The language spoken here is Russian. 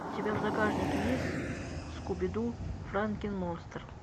у тебя в загашнике есть скубиду франкен монстр